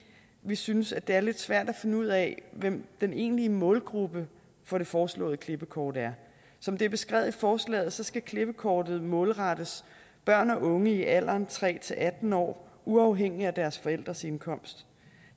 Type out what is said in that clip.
vi synes at det er lidt svært at finde ud af hvem den egentlige målgruppe for det foreslåede klippekort er som det er beskrevet i forslaget skal klippekortet målrettes børn og unge i alderen tre atten år uafhængigt af deres forældres indkomst